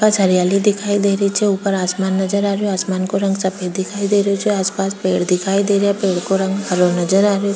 पास हरियलि दिखाई दे रही छे ऊपर आसमान नज़र आरो आसमान का रंग सफ़ेद दिखाई दे रही छे आस पास पेड़ नजर आ रही छे पेड़ का रंग हरो नजर आ रयो।